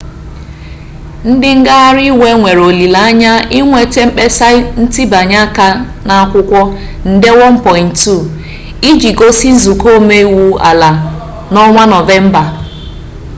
ndi ngaghari iwe nwere olile-anye inweta mkpesa ntibanye aka n'akwukwo nde 1.2 iji gosi nzuko ome-iwu ala-anyi n'onwa novemba